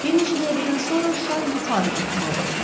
Bir neçə dəqiqədən sonra şar yuxarı qalxmağa başladı.